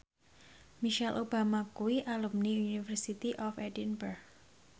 Michelle Obama kuwi alumni University of Edinburgh